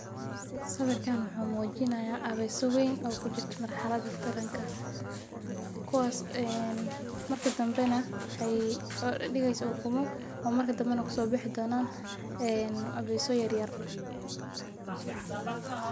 Sawirkan wuxuu mujinayaa aweso weyn oo kujirto marxalada taranka kuwas waxee udigeysa kuwas oo marka u danbana kusobaxaya abeso yar yar.